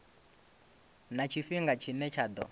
na tshifhinga tshine tsha ḓo